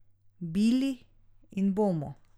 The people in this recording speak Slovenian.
Bili in bomo.